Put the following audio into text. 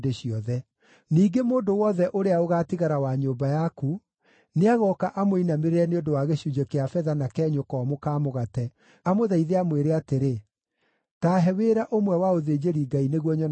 Ningĩ mũndũ wothe ũrĩa ũgaatigara wa nyũmba yaku, nĩagooka amũinamĩrĩre nĩ ũndũ wa gĩcunjĩ kĩa betha na kenyũ komũ ka mũgate, amũthaithe amwĩre atĩrĩ, “Ta he wĩra ũmwe wa ũthĩnjĩri-Ngai nĩguo nyonage gĩa kũrĩa.” ’”